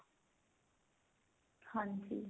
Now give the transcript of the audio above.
ਹਾਂਜੀ